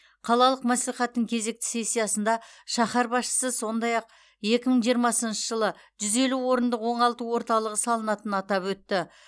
қалалық мәслихаттың кезекті сессиясында шаһар басшысы сондай ақ екі мың жиырмасыншы жылы жүз елу орындық оңалту орталығы салынатынын атап өтті